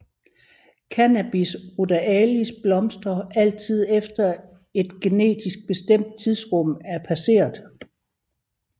Cannabis ruderalis blomstrer altid efter at et genetisk bestemt tidsrum er passeret